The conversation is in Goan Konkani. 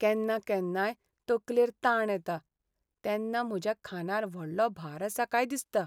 केन्ना केन्नाय, तकलेर ताण येता, तेन्ना म्हज्या खांदार व्हडलो भार आसा काय दिसता.